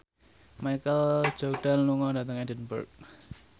Michael Jordan lunga dhateng Edinburgh